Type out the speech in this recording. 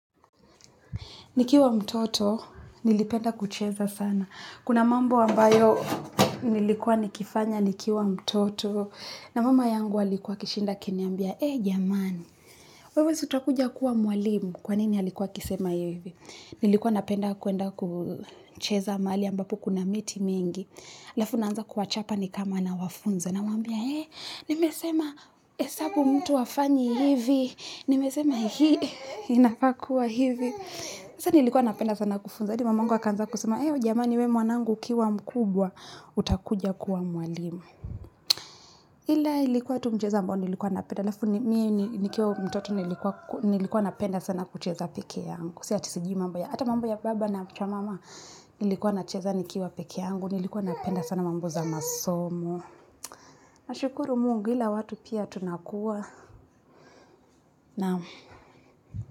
Nikiwa mtoto, nilipenda kucheza sana. Kuna mambo ambayo nilikuwa nikifanya, nikiwa mtoto. Na mama yangu alikuwa akishinda akiniambia, ee jamani, wewe si utakuja kuwa mwalimu. Kwa nini alikuwa akisema yu hivi? Nilikuwa napenda kuenda kucheza mahali ambapo kuna miti mingi. halafu naanza kuwachapa ni kama nawafunzo. Namwambia, ee, nimesema esabu mtu hafanyi hivi. Nimesema hii, inafaa kua hivi. Nasa nilikuwa napenda sana kufunza hadi mamangu akaanza kusema. Eyo jamani we mwanangu ukiwa mkubwa utakuja kuwa mwalimu. Ila ilikuwa tu mchezo ambao nilikuwa napenda halafu na miye nikiwa mtoto nilikua nilikuwa napenda sana kucheza peke yangu. Si ati sijui mambo ya ata mambo ya baba na mcha mama. Nilikuwa nacheza nikiwa peke yangu nilikua napenda sana mambo za masomo. Nashukuru mungu ila watu pia tunakuwa na.